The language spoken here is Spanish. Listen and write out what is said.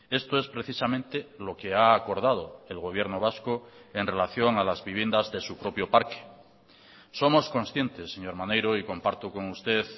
esto es precisamente lo que ha acordado el gobierno vasco en relación a las viviendas de su propio parque somos conscientes señor maneiro y comparto con usted